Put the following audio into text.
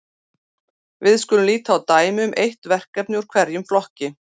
Við skulum líta á dæmi um eitt verkefni úr hverjum flokki.